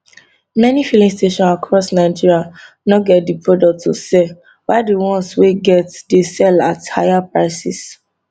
many filling stations across nigeria no get di product to sell while di ones wey get dey sell at higher prices